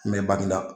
Mɛ bangginda